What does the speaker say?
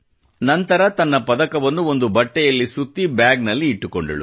ನಂತರ ತನ್ನ ಪದಕವನ್ನು ಒಂದು ಬಟ್ಟೆಯಲ್ಲಿ ಸುತ್ತಿ ಬ್ಯಾಗ್ ನಲ್ಲಿ ಇಟ್ಟಳು